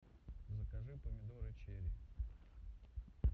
закажи помидоры черри